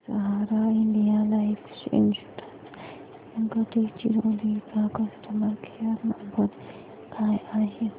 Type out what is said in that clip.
सहारा India life insurance Gadchiroli चा customer care number काय आहे